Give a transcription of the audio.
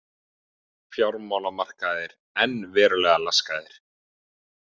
Fjármálamarkaðir enn verulega laskaðir